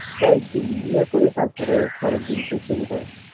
তাই একদিন ইয়ে করে তারপরে পরের দিন তে শুরু করে